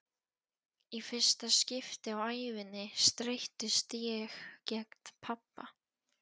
Í fyrsta skipti á ævinni streittist ég gegn pabba.